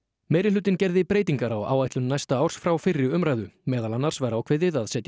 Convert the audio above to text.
meirihlutinn gerði breytingar á áætlun næsta árs frá fyrri umræðu meðal annars var ákveðið að setja